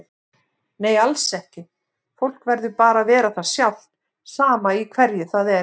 Nei alls ekki, fólk verður bara að vera það sjálft sama í hverju það er.